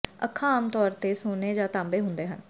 ਅੱਖਾਂ ਆਮ ਤੌਰ ਤੇ ਸੋਨੇ ਜਾਂ ਤਾਂਬੇ ਹੁੰਦੇ ਹਨ